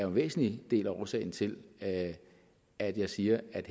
en væsentlig del af årsagen til at at jeg siger at